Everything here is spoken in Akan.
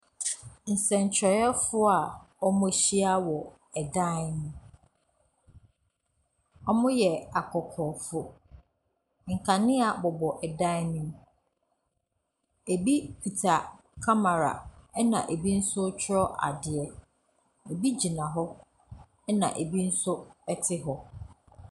Nsɛnkyerɛwfoɔ a ɔmo ehyia wɔ ɛdan mu. Ɔmo yɛ akɔkɔɔfo. Nkanea bobɔ ɛdan no mu. Ebi kita kamera ɛna ebi so kyerɛw adeɛ. Ebi gyina hɔ ɛna ebi so ɛte hɔ.